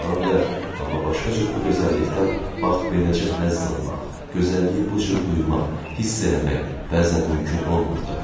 Ola bilər, amma başqa cür bu gözəllikdən bax beləcə həzz almaq, gözəlliyi bu cür duymaq, hiss eləmək bəzən mümkün olmurdu.